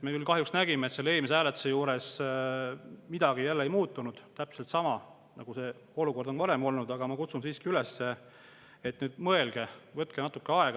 Me küll kahjuks nägime, et eelmise hääletuse puhul midagi ei muutunud – täpselt sama, nagu see olukord on varem olnud –, aga ma siiski kutsun üles: mõelge, võtke natuke aega.